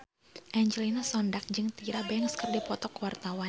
Angelina Sondakh jeung Tyra Banks keur dipoto ku wartawan